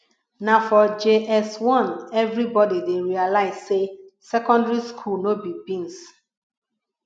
na for js1 everybody dey realize say secondary school no be beans